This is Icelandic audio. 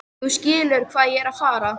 Þú skilur hvað ég er að fara.